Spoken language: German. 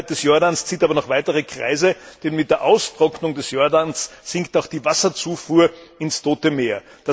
Die Wasserknappheit des Jordans zieht aber noch weitere Kreise, denn mit der Austrocknung des Jordans sinkt auch die Wasserzufuhr ins Tote Meer.